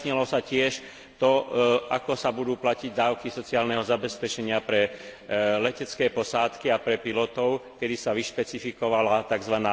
Vyjasnilo sa tiež to, ako sa budú platiť dávky sociálneho zabezpečenia pre letecké posádky a pre pilotov, kedy sa vyšpecifikovala tzv.